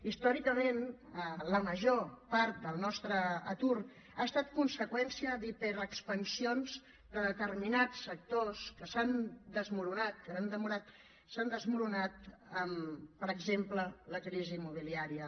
històricament la major part del nostre atur ha estat conseqüència d’hiperexpansions de determinats sectors que s’han enfonsat amb per exemple la crisi immobiliària